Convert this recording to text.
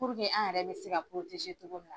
Puruke an yɛrɛ bɛ se ka cogo min na.